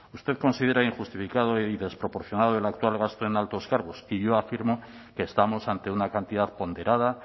usted considera injustificado y desproporcionado el actual gasto en altos cargos y yo afirmo que estamos ante una cantidad ponderada